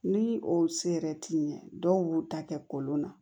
Ni o se yɛrɛ t'i ye dɔw b'u ta kɛ kolon na